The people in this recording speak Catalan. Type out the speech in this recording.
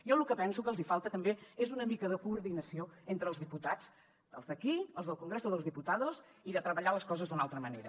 jo lo que penso que els hi falta també és una mica de coordinació entre els diputats els d’aquí els del congreso de los diputados i de treballar les coses d’una altra manera